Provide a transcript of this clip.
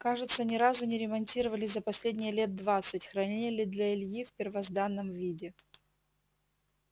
кажется ни разу не ремонтировали за последние лет двадцать хранили для ильи в первозданном виде